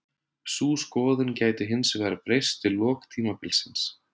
Sú skoðun gæti hinsvegar breyst við lok tímabilsins.